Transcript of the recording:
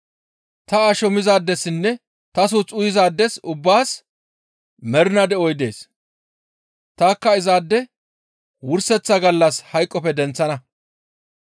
Ta asho mizaadessinne ta suuth uyizaades ubbaas mernaa de7oy dees; tanikka izaade wurseththa gallas hayqoppe denththana.